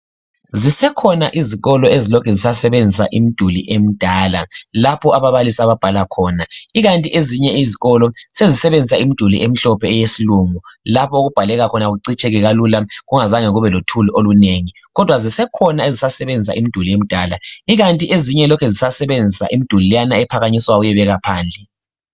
Zisekhona izikolo ezilokhe zisasebenzisa imiduli emidala lapho ababalisi ababhala khona ikanti ezinye izikolo sesisebenzisa imiduli emhlophe eyesilungu lapho okubhaleka khona kucitsheke kalula kungazange kube lothuli olunengi. Kodwa zisekhona ezizasebenzisa imiduli emidala ikanti ezinye lokhe zisasebenzisa imiduli leyana ephakanyiswayo uyebeka phandle.